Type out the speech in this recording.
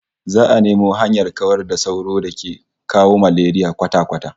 Za'a nemo hanyar kawar da sauron da ke kawo malaria kwata-kwata